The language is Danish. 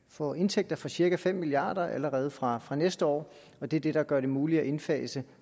få indtægter for cirka fem milliard kroner allerede fra fra næste år og det er det der gør det muligt at indfase